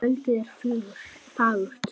Kvöldið er fagurt.